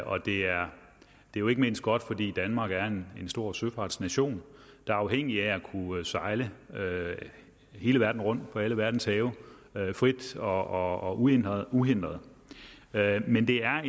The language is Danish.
og det er jo ikke mindst godt fordi danmark er en stor søfartsnation der er afhængig af at kunne sejle hele verden rundt på alle verdens have frit og uhindret uhindret men det er